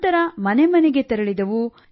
ನಂತರ ಮನೆ ಮನೆಗೆ ತೆರಳಿದೆವು